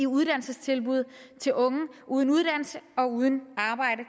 uddannelsestilbud til unge uden uddannelse og uden arbejde